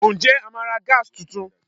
Ǹjẹ́ a máa ra Gas tuntun?